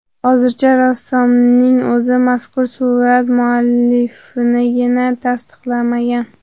Hozircha rassomning o‘zi mazkur surat muallifligini tasdiqlamagan.